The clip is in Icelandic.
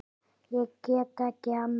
Ég get ekki annað.